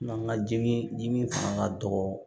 Mankan jigin ni min fanga ka dɔgɔ